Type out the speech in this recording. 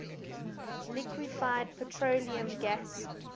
liquefied petroleum gas